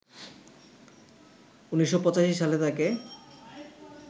১৯৮৫ সালে তাকে